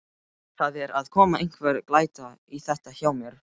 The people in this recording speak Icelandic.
Það er að koma einhver glæta í þetta hjá mér.